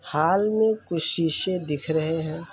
Hall में कुछ शीशे दिख रहे हैं।